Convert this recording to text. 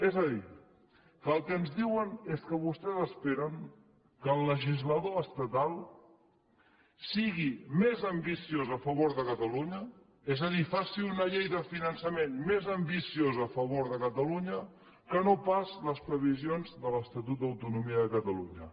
és a dir que el que ens diuen és que vostès esperen que el legislador estatal sigui més ambiciós a favor de catalunya és a dir faci una llei de finançament més ambiciosa a favor de catalunya que no pas les previsions de l’estatut d’autonomia de catalunya